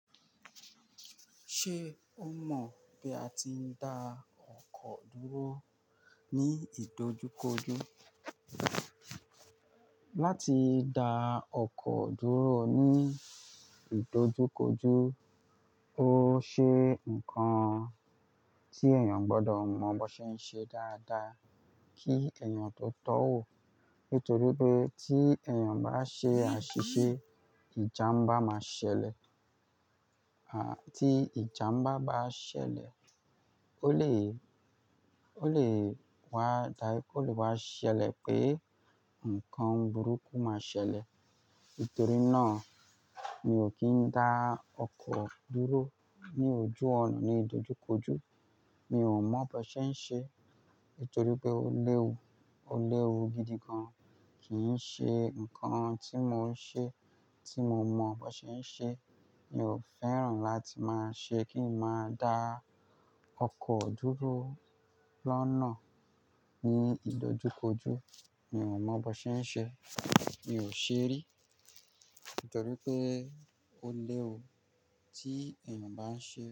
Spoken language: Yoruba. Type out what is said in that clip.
Ṣé o mọ̀ bí a ti ń da ọkọ̀ dúró ní ìdojúkojú? Láti da ọkọ̀ dúró ní ìdojúkojú ó ṣe nǹkan tí èèyàn gbọdọ̀ mọ bó ṣe ń ṣe dáadáa kí èèyàn tó tọ́ wò. Nítorí pé tí èèyàn bá ṣe àṣìṣe, ìjàmbá máa ṣẹlẹ̀. Ah, tí ìjàmbá bá ṣẹlẹ̀, ó lè, ó lè wá ṣẹlẹ̀ pé nǹkan burúkú máa ṣẹlẹ̀. Nítorí náà mi ò kí ń dá ọkọ̀ dúró ní ojú ònà ní ìdojúkojú. Mi ò mọ bó ṣe ń ṣe. Nítorí pé ó léwu, ó léwu gidi gan. Kì í ṣe nǹkan tí mò ń ṣe, tí mo mọ bó ṣe ń ṣe. Mi ò fẹ́ràn láti máa ṣe kí n máa da ọkọ̀ dúró lọ́nà ní ìdojúkojú. Mi ò mọ bó ṣe ń ṣe. Mi ò ṣe rí. Nítorí pé ó léwu tí èèyàn bá ń ṣe.